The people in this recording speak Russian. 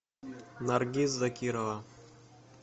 наргиз закирова